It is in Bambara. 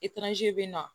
bɛ na